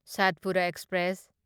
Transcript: Satpura express